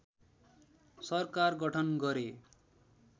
सरकार गठन गरे